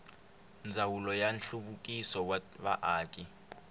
ndzawulo ya nhluvukiso wa vaaki